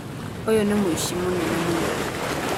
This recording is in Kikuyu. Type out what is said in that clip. Uyu nĩ mũici mũnene mũno